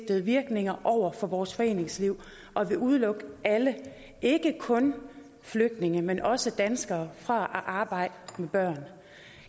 virkninger over for vores foreningsliv og vil udelukke alle ikke kun flygtninge men også danskere fra at arbejde med børn